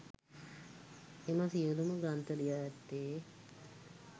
එම සියලුම ග්‍රන්ථ ලියා ඇත්තේ